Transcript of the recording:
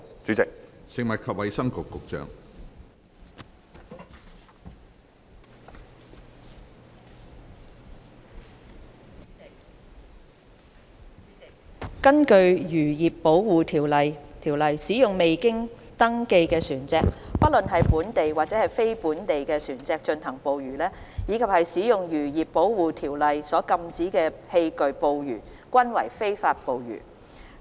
主席，根據《漁業保護條例》，使用未經登記的船隻，不論是本地或非本地船隻進行捕魚，以及使用《漁業保護規例》所禁止的器具捕魚均為非法捕魚。